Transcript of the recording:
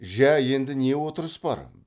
жә енді не отырыс бар